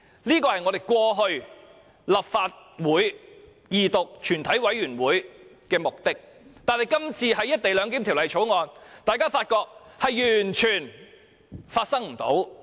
這是我們過去的立法會二讀、全體委員會的目的，但今次審議《條例草案》時，大家發覺完全不是這回事。